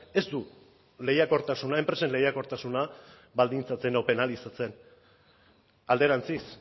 ez du lehiakortasuna enpresen lehiakortasuna baldintzatzen edo penalizatzen alderantziz